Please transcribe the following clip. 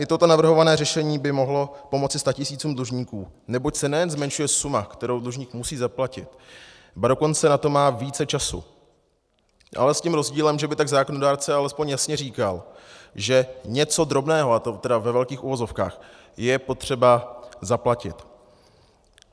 I toto navrhované řešení by mohlo pomoci statisícům dlužníků, neboť se nejen zmenšuje suma, kterou dlužník musí zaplatit, ba dokonce na to má více času, ale s tím rozdílem, že by tak zákonodárce alespoň jasně říkal, že něco drobného, a to tedy ve velkých uvozovkách, je potřeba zaplatit.